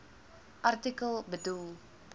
artikel bedoel